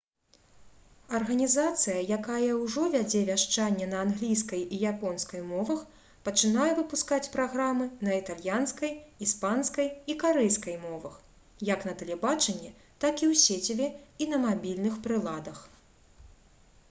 арганізацыя якая ўжо вядзе вяшчанне на англійскай і японскай мовах пачынае выпускаць праграмы на італьянскай іспанскай і карэйскай мовах як на тэлебачанні так і ў сеціве і на мабільных прыладах